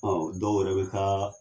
dɔw yɛrɛ bɛ taa.